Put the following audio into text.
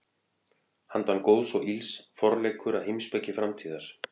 Handan góðs og ills: Forleikur að heimspeki framtíðar.